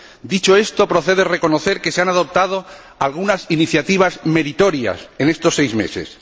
Dicho esto, procede reconocer que se han adoptado algunas iniciativas meritorias en estos seis meses.